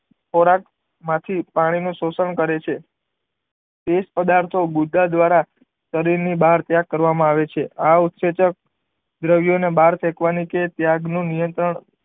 ખોરાક માંથી પાણી નું શોસણ કરે છે એ જ પ્રદાથો બુધા દ્વારા શરીર ની બહાર ત્યાગ કરવા માં આવે છે આ ઉસેચન દ્રવ્યો ને બહાર ફેંકવાનું કે ત્યાગ નું નિયત્રણ